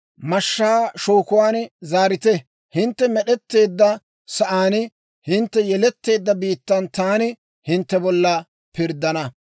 Mashshaa shookuwaan zaarite. Hintte med'etteedda sa'aan, hintte yeletteedda biittan taani hintte bolla pirddana.